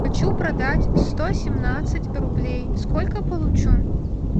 хочу продать сто семнадцать рублей сколько получу